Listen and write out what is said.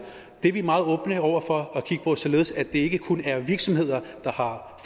det er vi meget åbne over for at kigge på således at det ikke kun er virksomheder der har